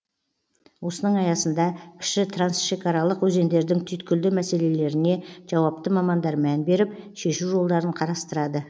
осының аясында кіші трансшекаралық өзендердің түйткілді мәселелеріне жауапты мамандар мән беріп шешу жолдарын қарастырады